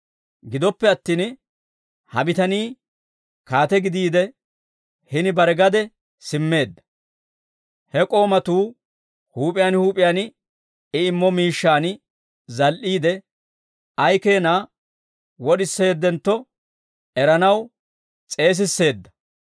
Gidoppe attin, ha bitanii kaate gidiide hini bare gade simmeedda. He k'oomatuu huup'iyaan huup'iyaan I immo miishshaan zal"iide ay keena wod'iseeddinontto eranaw s'eesisseedda.